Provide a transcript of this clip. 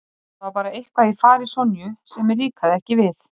Það var bara eitthvað í fari Sonju sem mér líkaði ekki við.